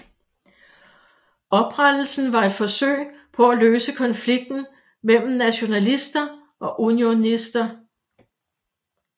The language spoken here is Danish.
Oprettelsen var et forsøg på at løse konflikten mellem nationalister og unionister